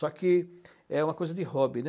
Só que é uma coisa de hobby, né?